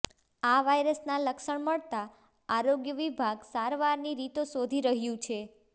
આ વાયરસના લક્ષણ મળતા આરોગ્ય વિભાગ સારવારની રીતો શોધી રહ્યુ છે